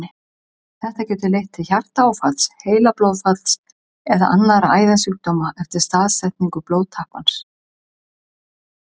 Þetta getur leitt til hjartaáfalls, heilablóðfalls eða annarra æðasjúkdóma eftir staðsetningu blóðtappans.